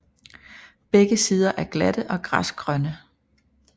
Begge sider er glatte og græsgrønne